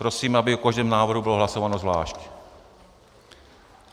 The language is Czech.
Prosím, aby o každém návrhu bylo hlasováno zvlášť.